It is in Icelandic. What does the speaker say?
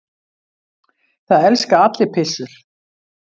Það elska allir pizzur!